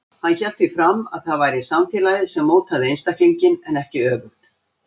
Hann hélt því fram að það væri samfélagið sem mótaði einstaklinginn en ekki öfugt.